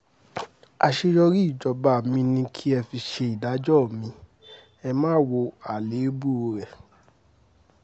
àṣeyọrí ìjọba mi ni kẹ́ ẹ fi ṣèdájọ́ mi ẹ má wo àléébù rẹ̀